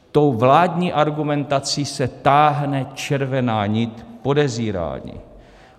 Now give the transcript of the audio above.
Tou vládní argumentací se táhne červená nit podezírání.